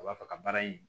A b'a fɛ ka baara in